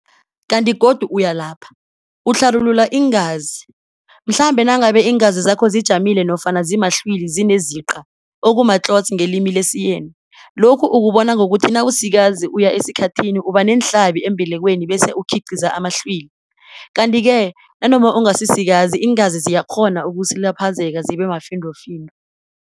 kanti godu uyalapha, utlharulula iingazi, mhlambe nangabe iingazi zakho zijamile nofana zimahlwili zineziqa, okuma-Clots ngelimi lesiYeni, lokhu ukubona ngokuthi nawusikazi uya esikhathini ubaneenhlabi embelekweni bese ukhiqiza amahlwili, kanti-ke nanoma ungasisikazi iingazi ziyakghona ukusilaphazeka zibemafindo-findo.